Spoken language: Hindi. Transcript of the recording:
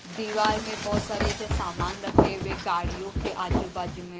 दीवार में बहुत सारे ऐसे सामान रखे हुए गाड़ियों के आजू-बाजू में।